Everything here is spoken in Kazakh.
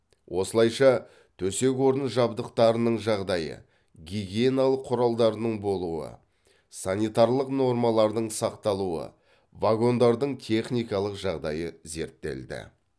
осылайша төсек орын жабдықтарының жағдайы гигиеналық құралдардың болуы санитарлық нормалардың сақталуы вагондардың техникалық жағдайы зерттелді